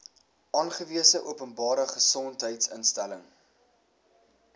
aangewese openbare gesondheidsinstelling